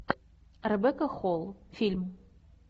ребекка холл фильм